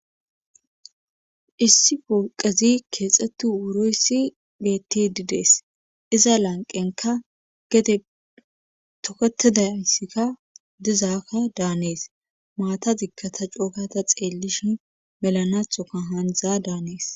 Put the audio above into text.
issi polqezi keexettu wuroyssi beti didees iza lanqenka gede tokatedaysikka dizaakka daanees maata digkata cookata xeellishi melanathoka haandza daanees